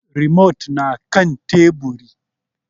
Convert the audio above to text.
Rimot na kan Teburi.